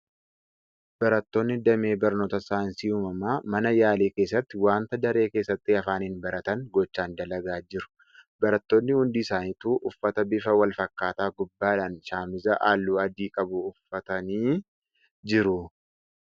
Barattoonni damee barnoota saayinsii uumamaa mana yaalii keessatti wanta daree keessatti afaaniin baratan gochaan dalagaa jiru. Barattoonni hundi isaanituu uffata bifa wal fakkaataa gubbaadhaan shaamiza halluu adii qabu uffatanii jiru .